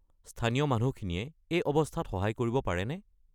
স্থানীয় মানুহখিনিয়ে এই অৱস্থাত সহায় কৰিব পাৰেনে?